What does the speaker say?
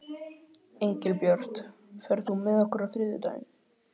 Engilbjört, ferð þú með okkur á þriðjudaginn?